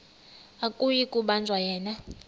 akuyi kubanjwa yena